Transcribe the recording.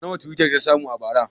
Nawa twitter ta samu a bara?